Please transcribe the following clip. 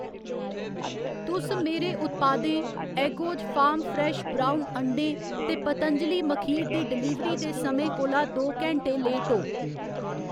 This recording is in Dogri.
तुस मेरे उत्पादें एगोज फार्म फ्रैश ब्रउन अंडें ते पतंजलि मखीर दी डलीवरी दे समें कोला दो घैंटें लेट ओ